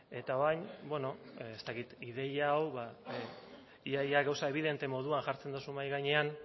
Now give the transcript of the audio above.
eta orain bueno ez dakit ideia hau ia ia gauza ebidente moduan jartzen duzu mahai gainean